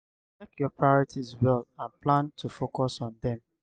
check your priorities well and plan to focus on them